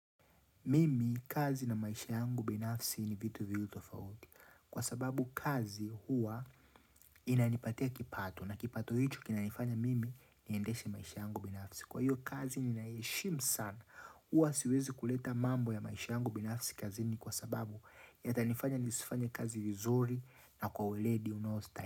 Mimi, kazi na maisha yangu binafsi ni vitu viwili tofauti Kwa sababu kazi hua inanipatia kipato. Na kipato hicho, kinanifanya mimi niendeshe maisha yangu binafsi. Kwa hiyo kazi, ninaieshimu sana hua siwezi kuleta mambo ya maisha yangu binafsi kazini kwa sababu yatanifanya nisifanya kazi vizuri na kwa uledi unaoastahili.